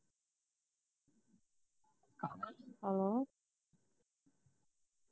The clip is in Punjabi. hello